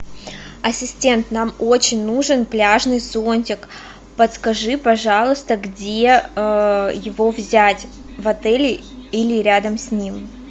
ассистент нам очень нужен пляжный зонтик подскажи пожалуйста где его взять в отеле или рядом с ним